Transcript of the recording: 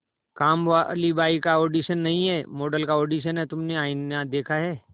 कामवाली बाई का ऑडिशन नहीं है मॉडल का ऑडिशन है तुमने आईना देखा है